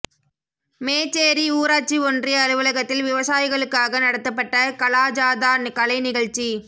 மேச்சேரி ஊராட்சி ஒன்றிய அலுவலகத்தில் விவசாயிகளுக்காக நடத்தப்பட்ட கலாஜாதா கலை நிகழ்ச்சி